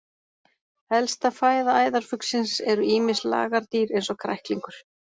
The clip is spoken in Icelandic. Helsta fæða æðarfuglsins eru ýmis lagardýr eins og kræklingur.